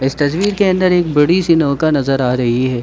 इस तस्वीर के अंदर एक बड़ी सी नोका नजर आ रही है।